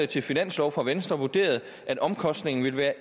til finanslov fra venstre vurderede at omkostningen ville være